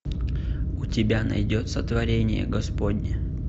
у тебя найдется творение господне